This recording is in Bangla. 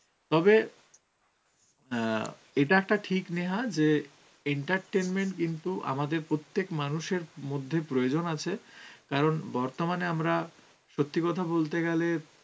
তবে অ্যাঁ এটা একটা ঠিক নেহা যে entertainment কিন্তু আমাদের প্রত্যেক মানুষের মধ্যে প্রয়োজন আছে, কারণ বর্তমানে আমরা সত্যি কথা বলতে গেলে